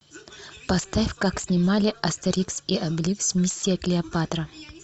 поставь как снимали астерикс и обеликс миссия клеопатра